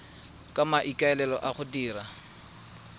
ka maikaelelo a go dira